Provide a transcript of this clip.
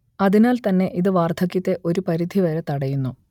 അതിനാൽ തന്നെ ഇത് വാർധക്യത്തെ ഒരു പരിധിവരെ തടയുന്നു